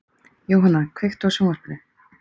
Jóanna, kveiktu á sjónvarpinu.